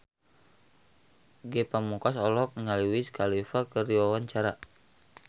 Ge Pamungkas olohok ningali Wiz Khalifa keur diwawancara